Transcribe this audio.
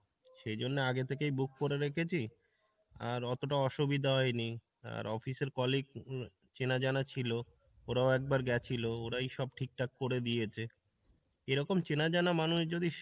সেজন্য আগে থেকেই book করে রেখেছি আর অতোটা অসুবিধা হয়নি, আর office এর colleague চেনা জানা ছিলো ওরাও একবার গেছিলো ওরাই সব ঠিক ঠাক করে দিয়েছে, এরকম চেনা জানা মানুষ যদি